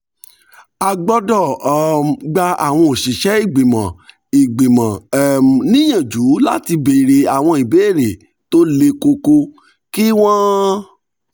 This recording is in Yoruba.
a gbọ́dọ̀ um gba àwọn òṣìṣẹ́ ìgbìmọ̀ um ìgbìmọ̀ um níyànjú láti béèrè àwọn ìbéèrè tó le koko kí wọ́n